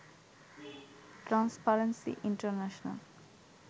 transparency international